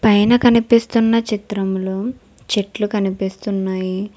పైన కనిపిస్తున్న చిత్రంలో చెట్లు కనిపిస్తున్నాయి.